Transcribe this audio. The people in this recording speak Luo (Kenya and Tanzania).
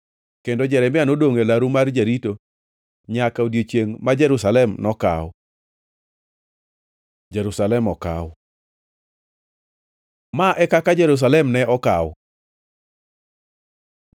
Kendo Jeremia nodongʼ e laru mar jarito nyaka odiechiengʼ ma Jerusalem nokaw. Jerusalem okaw Ma e kaka Jerusalem ne okaw: